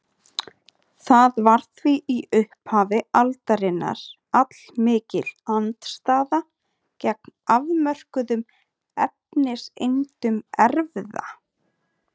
Það var því í upphafi aldarinnar allmikil andstaða gegn afmörkuðum efniseindum erfða.